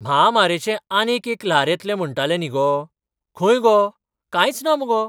म्हामारेचें आनीक एक ल्हार येतलें म्हणटाले न्ही गो? खंय गो, कांयच ना मुगो!